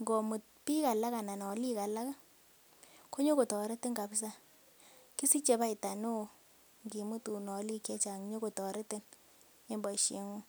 ngo mut biik alak anan olik alak konyokotoretin kabisa kisiche faida neo ngimutun olik che chang nyokotoretin en boisieng'ung.